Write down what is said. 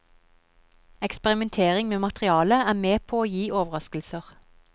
Eksperimentering med materialet er med på å gi overraskelser.